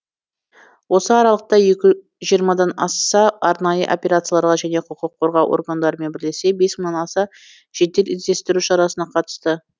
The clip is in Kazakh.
осы аралықта жиырмадан аса арнайы операцияларға және құқық қорғау органдарымен бірлесе бес мыңнан аса жедел іздестіру шарасына қатысты